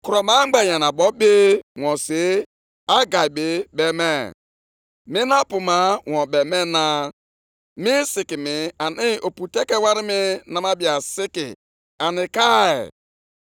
Ihe ndị a ka Onyenwe anyị, Onye pụrụ ime ihe niile na-ekwu, “Ndị a na-asị, ‘Nʼoge ahụ erubeghị mgbe anyị ga-ewu ụlọnsọ ukwu Onyenwe anyị.’ ”